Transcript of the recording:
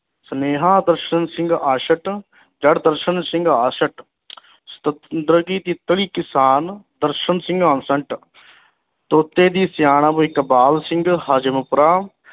ਸੁਨੇਹਾ ਦਰਸ਼ਨ ਸਿੰਘ ਆਸੰਟ ਦਰ ਦਰਸ਼ਨ ਸਿੰਘ ਆਸੰਟ ਕਿਸਾਨ ਦਰਸ਼ਨ ਸਿੰਘ ਆਸੰਟ ਤੋਤੇ ਦੀ ਸਿਆਣਪ ਇਕਬਾਲ ਸਿੰਘ ਹਜ਼ਮਪੁਰਾ